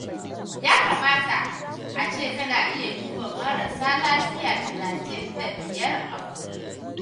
Ya kamata a ce kana iya duba marasa lafiya talatin da biyar a kullum